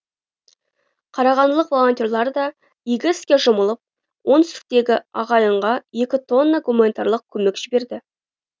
қарағандылық волонтерлар да игі іске жұмылып оңтүстіктегі ағайынға екі тонна гуманитарлық көмек жіберді